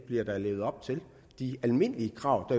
levet op til de almindelige krav